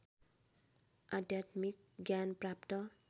आध्यात्मिक ज्ञान प्राप्त